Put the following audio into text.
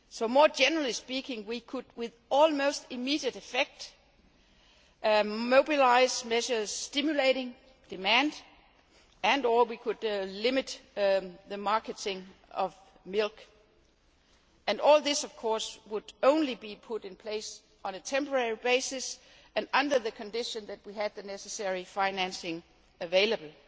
More generally speaking, we could with almost immediate effect mobilise measures stimulating demand and or we could limit the marketing of milk, and all this would only be put in place on a temporary basis and under the condition that we had the necessary financing available.